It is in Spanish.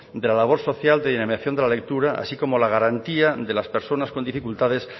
de la labor social de dinamización de la lectura así como la garantía de las personas con dificultades